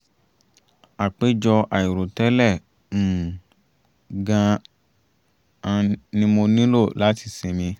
àpèjọ àìrò tẹ́lẹ̀ um gan-an ni mo nílò láti sinmi